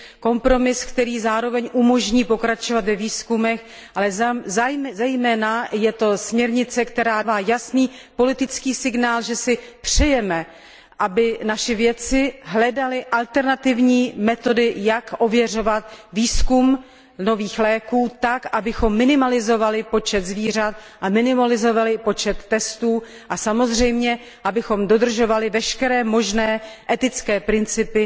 Kompromis, který zároveň umožní pokračovat ve výzkumech, ale zejména je to směrnice, která dává jasný politický signál, že si přejeme, aby naši vědci hledali alternativní metody, jak ověřovat výzkum nových léků tak, abychom minimalizovali počet zvířat a minimalizovali počet testů a samozřejmě, abychom dodržovali veškeré možné etické principy